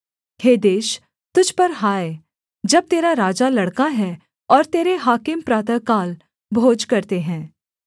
हे देश तुझ पर हाय जब तेरा राजा लड़का है और तेरे हाकिम प्रातःकाल भोज करते हैं